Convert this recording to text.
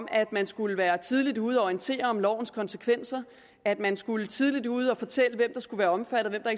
at man skulle være tidligt ude og orientere om lovens konsekvenser at man skulle være tidligt ude og fortælle hvem der skulle være omfattet og